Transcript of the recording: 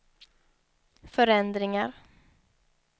förändringar